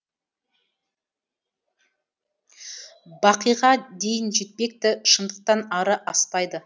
бақиға дейін жетпекті шындықтан ары аспайды